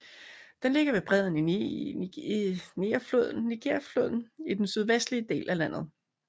Den ligger ved bredden af Nigerfloden i den sydvestlige del af landet